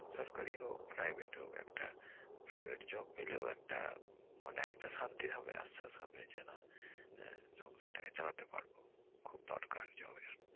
সরকারি হোক private হোক একটা private job পেলেও একটা মানে একটা শান্তির হবে আশ্বাস হবে যে না আহ সংসারটাকে চালাতে পারব খুব দরকার job এর।